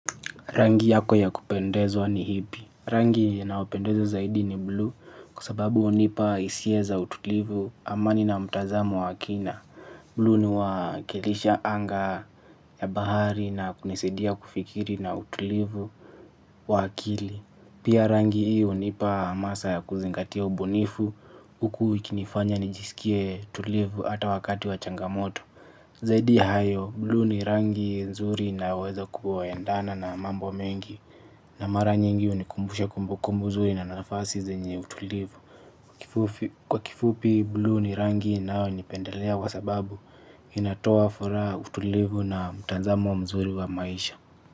Rangi yako ya kupendezwa ni ipi. Rangi inayopendeza zaidi ni blue kwa sababu hunipa hisia za utulivu amani na mtazamo wa kina. Blue ni wakilisha anga ya bahari na kunisaidia kufikiri na utulivu wa akili. Pia rangi hiyo hunipa hamasa ya kuzingatia ubunifu huku ikinifanya nijisikie tulivu ata wakati wa changamoto. Zaidi hayo, blue ni rangi nzuri naweza kuendana na mambo mengi. Na mara nyingi hunikumbusha kumbukumbu nzuri na nafasi zenye utulivu. Kwa kifupi blue ni rangi inayonipendelea kwa sababu inatoa furaha utulivu na mtazamo mzuri wa maisha.